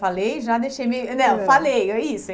Falei e já deixei meio... Não, falei, é isso.